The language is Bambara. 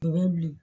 U bɛ bilen